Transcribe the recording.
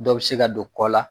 Dɔ bɛ se ka don kɔ la